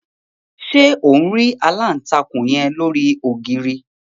Ṣe on ri alántakùn yen lori ogiri?